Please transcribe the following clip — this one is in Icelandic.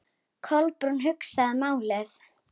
Kolbrún hugsaði málið.